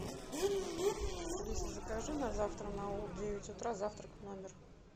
алиса закажи на завтра на девять утра завтрак в номер